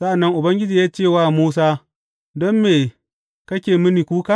Sa’an nan Ubangiji ya ce wa Musa, Don me kake mini kuka?